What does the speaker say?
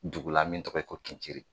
Dugu la min tɔgɔ ye ko Tunciri